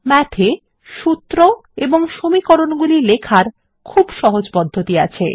math -এ সূত্র এবং সমীকরণগুলি লেখার খুব সহজ পদ্ধতি আছে